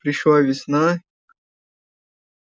пришла весна